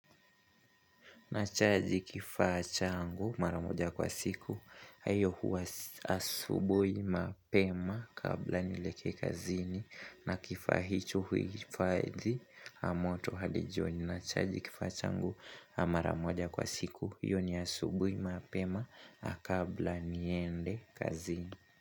Nachaji kifaa changu mara moja kwa siku, na iyo huwa asubuhi mapema kabla nilekee kazini na kifaa hicho huhifadhi moto hadi jioni. Nachaji kifaa changu mara moja kwa siku, iyo ni asubuhi mapema kabla niende kazini.